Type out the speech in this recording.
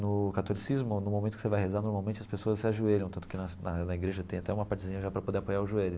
No catolicismo, no momento que você vai rezar, normalmente as pessoas se ajoelham, tanto que na na igreja tem até uma partezinha já para poder apoiar o joelho.